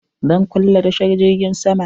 Zan kulle tashar jirgin sama?